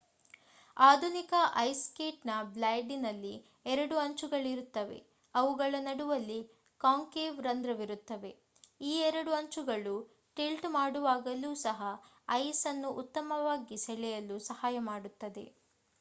ಆಧುನಿಕ ice skate ನ ಬ್ಲೇಡಿನಲ್ಲಿ ಎರಡು ಅಂಚುಗಳಿರುತ್ತವೆ ಅವುಗಳ ನಡುವಲ್ಲಿ ಕಾಂಕೇವ್ ರಂದ್ರವಿರುತ್ತದೆ ಈ ಎರಡು ಅಂಚುಗಳು ಟಿಲ್ಟ್ ಮಾಡುವಾಗಲೂ ಸಹ ಐಸ್ ಅನ್ನು ಉತ್ತಮವಾಗಿ ಸೆಳೆಯಲು ಸಹಾಯ ಮಾಡುತ್ತದೆ